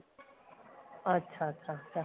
ਅੱਛਾ ਅੱਛਾ ਅੱਛਾ